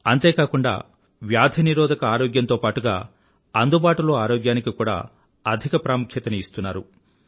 అంతే కాకుండా వ్యాధి నిరోధక ఆరోగ్యంతోpreventive హెల్త్ పాటుగా అందుబాటులో ఆరోగ్యానికిaffordable హెల్త్ కూడా అధిక ప్రాముఖ్యతని ఇస్తున్నారు